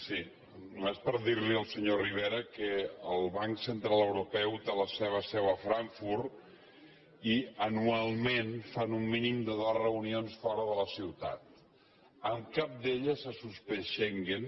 sí només per dir al senyor rivera que el banc central europeu té la seva seu a frankfurt i anualment fan un mínim de dos reunions fora de la ciutat en cap d’elles s’ha suspès schengen